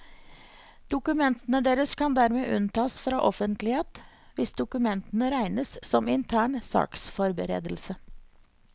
Dokumentene deres kan dermed unntas fra offentlighet hvis dokumentene regnes som intern saksforberedelse.